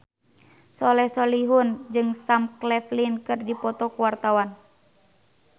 Soleh Solihun jeung Sam Claflin keur dipoto ku wartawan